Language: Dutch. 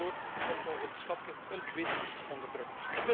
Daardoor komt onze schatkist een tweede keer onder druk.